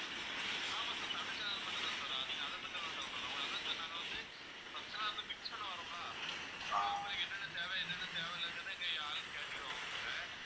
ஆமா sir தமிழ் channel மட்டும் தான் sir வரும் நீங்க அதை பத்தி ஒண்ணும் கவலைப்பட வேண்டாம் அதான் sir நாங்க வந்து first லாம் வந்து fix பண்ண வருவோம்ல அப்பவே உங்களுக்கு என்னென்ன தேவை என்னென்ன தேவையில்லைங்கிறத எங்க ஆளு கேட்டுக்குடுவாங்க உங்ககிட்ட